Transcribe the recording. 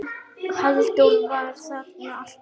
Halldór var þarna alltaf.